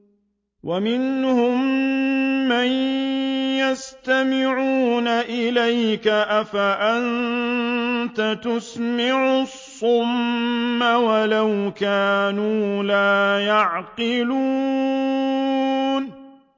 وَمِنْهُم مَّن يَسْتَمِعُونَ إِلَيْكَ ۚ أَفَأَنتَ تُسْمِعُ الصُّمَّ وَلَوْ كَانُوا لَا يَعْقِلُونَ